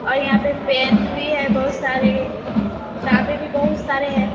और यहाँ पे पेन भी बहोत सारे किताबें भी बोहोत सारे हैं।